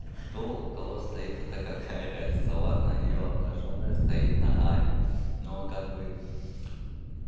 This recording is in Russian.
что у кого стоит это какая разница ладно её обнажённая стоит на аве но как бы